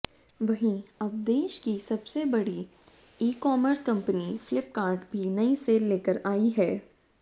वहीं अब देश की सबसे बड़ी ईकॉमर्स कंपनी फ्लिपकार्ट भी नई सेल लेकर आई है